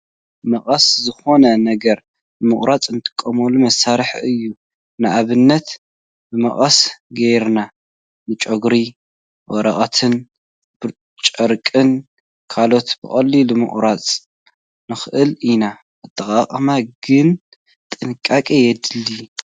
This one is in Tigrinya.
መቐስ ዝኾነ ነገር ንምቑራፅ ንጥቀመሉ መሳራሕ እዩ፡፡ ንኣብነት ብመቐስ ጌርና ንጨጉሪ፣ ወረቐት፣ ጨርቅን ካልእን ብቐሊሉ ምቑራፅ ንኽእል ኢና፡፡ ኣጠቓቕምኡ ግን ጥንቃቐ የድልዮ፡፡